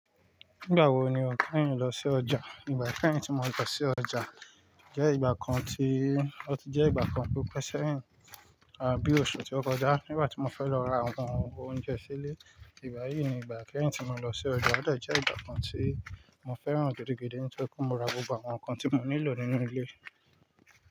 Nígbà wo ni o kẹ́yín lọ sí ọjà? Ígbà ikẹ́yìn tì mo lọ sí ọjà jẹ́ ìgbà kan tí ó ti jẹ́ ìgbà kan tó pẹ́ sẹ́yìn àbí oṣù ti ó kọjá nígbà tí mo fẹ́ lọ ra àwọn oúnjẹ sílé. Ìgbà yìí ni ìgbà ikẹ́yìn tì mo lọ sí ọjà, ó dejẹ́ ìgbà kan tí mo fẹ́ràn gidi gidi nítorí kó mo ra gbogbo àwọn nǹkan tí mo nílò nínú ilé.